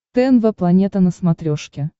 тнв планета на смотрешке